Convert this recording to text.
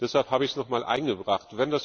Deshalb habe ich es noch einmal eingebracht.